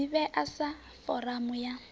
i ḓivhea sa foramu ya